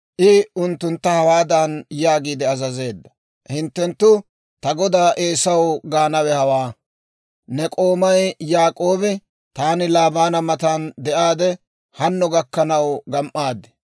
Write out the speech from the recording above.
I unttuntta hawaadan yaagiide azazeedda; «Hinttenttu ta godaa Eesaw gaanawe hawaa; ‹Ne k'oomay Yaak'oobi, «Taani Laabaana matan de'aadde hanno gakkanaw gam"aad.